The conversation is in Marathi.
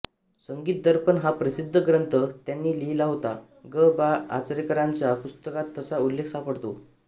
संगीत दर्पण हा प्रसिद्ध ग्रंथ त्यानी लिहिला होता गं बा आचरेकरांच्या पुस्तकात तसा उल्लेख सापडतो